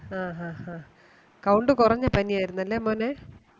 count കുറഞ്ഞ പനി ആയിരുന്നലെ മോനെ